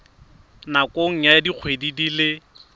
nakong ya dikgwedi di le